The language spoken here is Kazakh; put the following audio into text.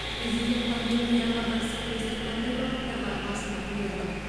президент пандемияға қарсы күресте қандай бағыттарға басымдық берді